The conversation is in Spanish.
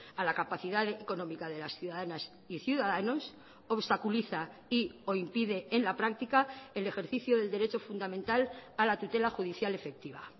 a la capacidad económica de las ciudadanas y ciudadanos obstaculiza y o impide en la práctica el ejercicio del derecho fundamental a la tutela judicial efectiva